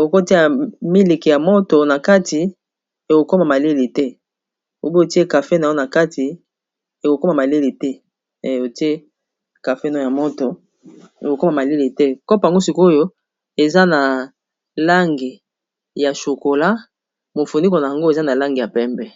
okota ya miliki ya moto na kati ekokoma maleli te obotie kafe nao na kati otie kafe nao ya moto ekokoma maleli te kop ango sikoyo eza na lange ya sokola mofunikona yango eza na lange ya pembe